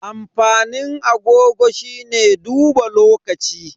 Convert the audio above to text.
Amfanin agogo shine duba lokaci.